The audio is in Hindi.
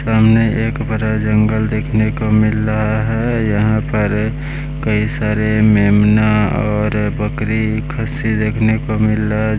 सामने एक बड़ा जंगल देखने को मिल रहा है यहाँ पर कई सारे मेमना और बकरी खस्सी देखने को मिल रहा --